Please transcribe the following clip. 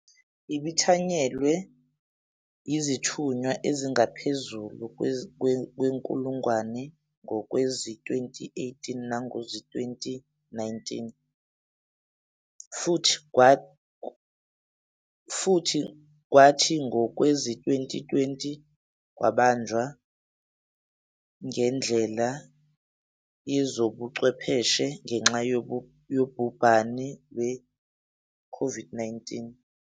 Ibithanyelwe yizithunywa ezingaphezulu kwenkulungwane ngowezi-2018 nangowezi-2019, futhi kwathi ngowezi-2020 yabanjwa ngendlela yezobuchwepheshe ngenxa yobhubhane lwe-COVID-19.